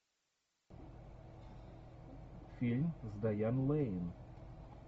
фильм с дайан лэйн